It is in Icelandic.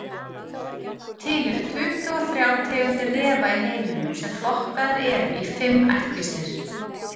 Til eru tuttugu og þrjár tegundir refa í heiminum sem flokkaðar eru í fimm ættkvíslir.